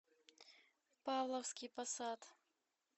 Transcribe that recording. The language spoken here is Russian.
павловский посад